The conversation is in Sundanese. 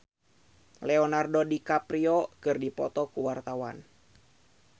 Bunga Citra Lestari jeung Leonardo DiCaprio keur dipoto ku wartawan